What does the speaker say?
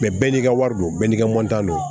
Mɛ bɛɛ n'i ka wari do bɛɛ n'i ka don